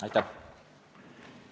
Aitäh!